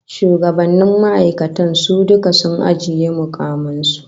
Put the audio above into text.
Shugabannnin ma'aikatar su duka sun ajiye mukaman su